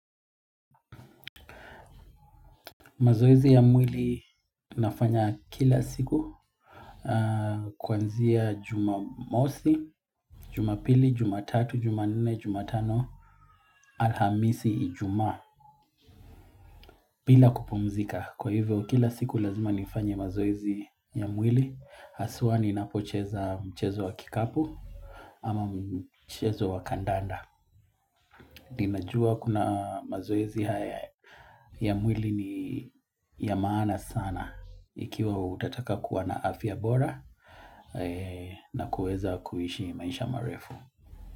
Mazoezi ya mwili nafanya kila siku kwanzia jumamosi, jumapili, jumatatu, jumanne, jumatano alhamisi ijumaa bila kupumzika. Kwa hivyo kila siku lazima nifanye mazoezi ya mwili aswa ninapocheza mchezo wa kikapu ama mchezo wa kandanda. Ninajua kuna mazoezi haya ya mwili ni ya maana sana ikiwa utataka kuwa na afya bora na kuweza kuishi maisha marefu.